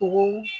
Tugun